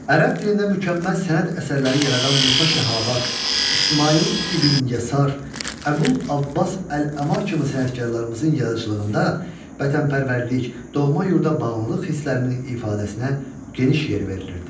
Ərəb dilində mükəmməl sənət əsərləri yaradan Musa Şahavat, İsmayıl İbn Yəsar, Əbül Abbas Əl-Əma kimi sənətkarlarımızın yaradıcılığında vətənpərvərlik, doğma yurda bağlılıq hisslərinin ifadəsinə geniş yer verilirdi.